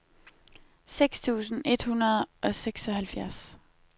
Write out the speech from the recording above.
seks tusind et hundrede og seksoghalvfjerds